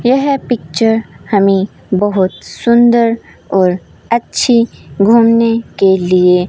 यह पिक्चर हमें बहोत सुंदर और अच्छी घूमने के लिए --